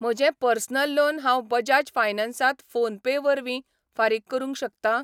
म्हजें personal loan हांव बजाज फायनान्सांत फोनपे वरवीं फारीक करूंक शकतां?